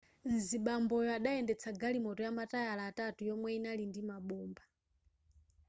mzibamboyo adayendetsa galimoto yamatayala atatu yomwe yinali ndi mabomba